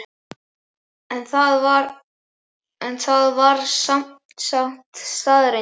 En það var sem sagt staðreynd?